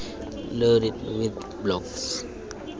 loaded with blocks